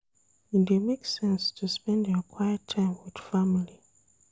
E dey make sense to spend your quiet time wit family.